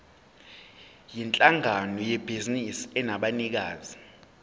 yinhlangano yebhizinisi enabanikazi